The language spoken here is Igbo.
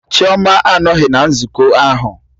Chioma anọghị na nzukọ ahụ